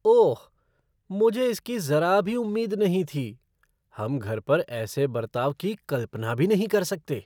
ओह, मुझे इसकी जरा भी उम्मीद नहीं थी। हम घर पर ऐसे बर्ताव की कल्पना भी नहीं कर सकते।